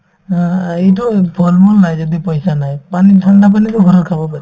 অ, এইটোয়ে ফল-মূল নাই যদি পইচা নাই পানী ঠাণ্ডা পানীতো ঘৰৰ খাব পাৰি